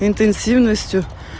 интенсивностью